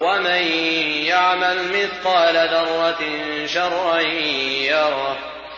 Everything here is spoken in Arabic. وَمَن يَعْمَلْ مِثْقَالَ ذَرَّةٍ شَرًّا يَرَهُ